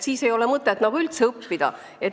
Siis ei ole mõtet nagu üldse õppida.